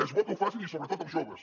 és bo que ho facin i sobretot els joves